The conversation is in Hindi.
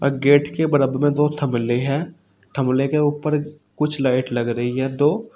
और गेट के बराबर में दो ठो ठमले है। ठमले के ऊपर कुछ लाइट लग रही है दो।